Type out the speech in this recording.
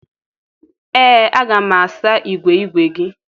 ee, a ga m asa igwe igwe gi